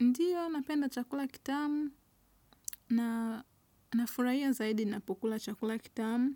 Ndiyo, napenda chakula kitamu na nafurahia zaidi napokula chakula kitamu